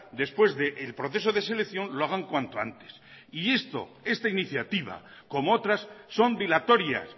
después del proceso de selección lo hagan cuanto antes y esto esta iniciativa como otras son dilatorias